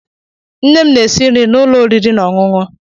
Nnem na esi nri na ụlọ oriri na ọṅụṅụ.